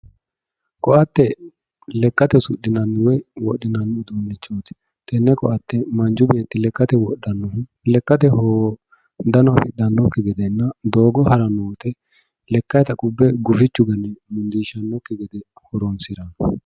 Koatte lekkate usudhinanni woyi wodhinanni uduunichoti tene koatte manchu beetti lekkate wodhano, lekkateno hundano gufidhanokki gedenna doogote harano woyte lekkatta qubbe gufichu ganne gufisanokki gede horonsirano.